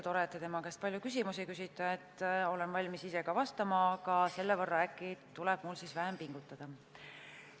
Tore, et te tema käest palju küsimusi küsite, olen valmis ise ka vastama, aga selle võrra äkki tuleb mul vähem pingutada.